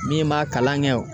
Min b'a kalan kɛ